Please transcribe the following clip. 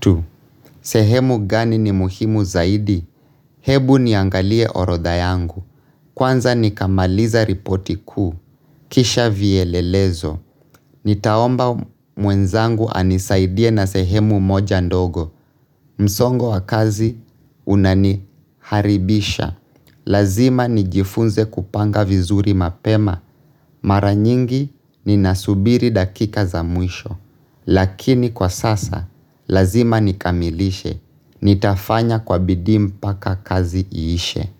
Tu, sehemu gani ni muhimu zaidi? Hebu niangalie orodha yangu. Kwanza nikamaliza ripoti kuu. Kisha vielelezo. Nitaomba mwenzangu anisaidie na sehemu moja ndogo. Msongo wa kazi unaniharibisha. Lazima nijifunze kupanga vizuri mapema. Mara nyingi ninasubiri dakika za muisho. Lakini kwa sasa, lazima nikamilishe. Nitafanya kwa bidii mpaka kazi iishe.